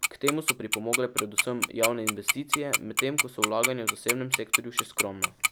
K temu so pripomogle predvsem javne investicije, medtem ko so vlaganja v zasebnem sektorju še skromna.